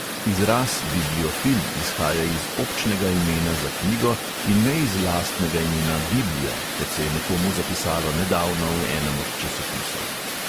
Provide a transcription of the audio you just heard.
Izraz bibliofil izhaja iz občnega imena za knjigo in ne iz lastnega imena biblija, kot se je nekomu zapisalo nedavno v enem od časopisov.